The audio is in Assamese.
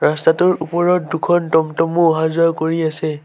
ৰাস্তাটোৰ ওপৰত দুখন টম-টমো অহা যোৱা কৰি আছে।